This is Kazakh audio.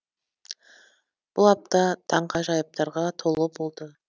бұл апта таңғажайыптарға толы болды